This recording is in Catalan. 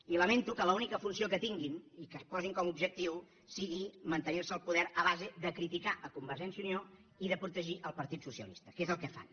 i lamento que l’única funció que tinguin i que es posin com a objectiu sigui mantenir se al poder a base de criticar a convergència i unió i de protegir el partit socialista que és el que fan